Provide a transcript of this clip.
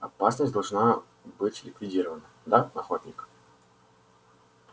опасность должна быть ликвидирована да охотник